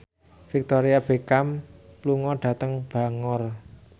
Victoria Beckham lunga dhateng Bangor